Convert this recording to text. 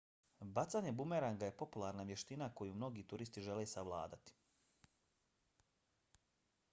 bacanje bumeranga je popularna vještina koju mnogi turisti žele savladati